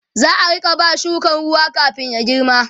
za'a Rika ba shukan ruwa kamin ya girma